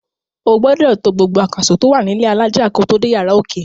O gbodò to gbogbo àkàsò tó wà nílẹ́ alájà kó tò dé yàrá òkè.